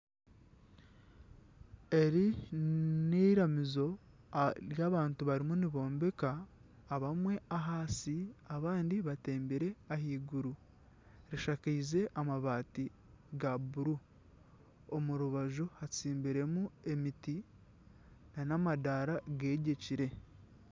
Eri n'eiramizo eri abantu barimu nibombeka. Abamwe ahansi abandi batembire ahaiguru. Eshakaize amabaati ga bururu. Omu rubaju hatsimbiremu emiti nana amadaara gegyekire.